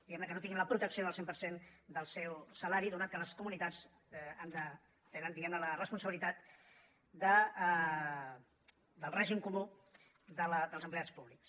diguem ne que no tinguin la protecció del cent per cent del seu salari atès que les comunitats tenen diguem ne la responsabilitat del règim comú dels empleats públics